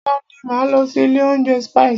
Ọ̀la ni máa lọ sí ilé oúnjẹ Spices.